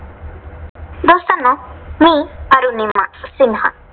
दोस्तांनो, मी अरुनिमा सिन्हा.